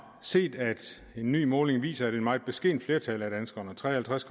set at en ny måling viser at et meget beskedent flertal af danskerne tre og halvtreds